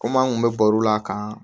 Komi an kun bɛ baro la k'an